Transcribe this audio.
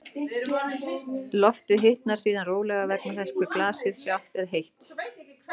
Loftið hitnar síðan rólega vegna þess hve glasið sjálft er heitt.